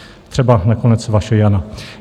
Třeba nakonec vaše Jana.